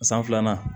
San filanan